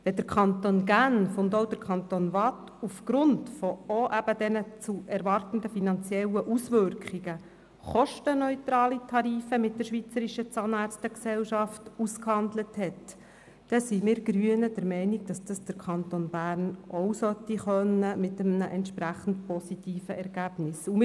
Wenn zudem der Kanton Genf und auch der Kanton Waadt, auch aufgrund dieser zu erwartenden finanziellen Auswirkungen, kostenneutrale Tarife mit der Schweizerischen Zahnärzte-Gesellschaft (SSO) ausgehandelt haben, dann sind wir Grünen der Meinung, dass der Kanton Bern dies auch mit einem entsprechend positiven Ergebnis können sollte.